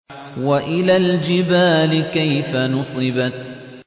وَإِلَى الْجِبَالِ كَيْفَ نُصِبَتْ